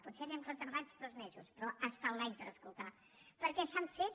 potser anem retardats dos mesos però ha estat l’any per escoltar perquè s’han fet